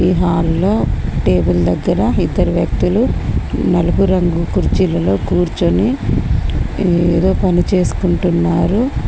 ఈ హాల్లో టేబుల్ దగ్గర ఇద్దరు వ్యక్తులు నలుపు రంగు కుర్చీలలో కూర్చుని ఏదో పని చేసుకుంటున్నారు.